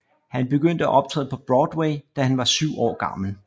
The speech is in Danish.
Han begyndte at optræde på Broadway da han var 7 år gammel